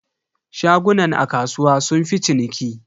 Shagunan a kasuwa sunfi ciniki.